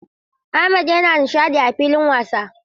Ahmed yana nishadi a filin wasa.